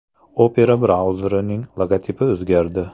Opera brauzerining logotipi o‘zgardi.